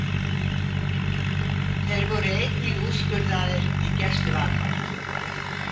Þeir voru einnig úrskurðaðir í gæsluvarðhald